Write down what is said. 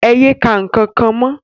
É ye ka nkankan mọ!